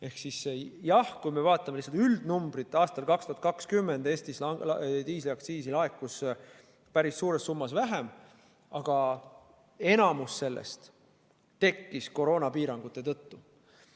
Ehk siis jah, kui me vaatame üldnumbrit aastal 2020, siis Eestis diisliaktsiisi laekus päris suures summas vähem, aga enamik sellest tekkis koroonapiirangute tõttu.